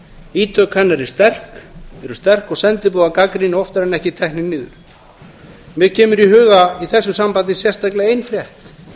ítök hennar eru sterk og sendiboðar gagnrýni oftar en ekki teknir niður mér kemur í huga í þessu sambandi sérstaklega ein frétt